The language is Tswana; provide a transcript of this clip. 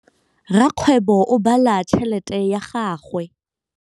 Rakgwêbô o bala tšheletê ya gagwe.